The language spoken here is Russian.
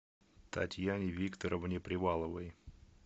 татьяне викторовне приваловой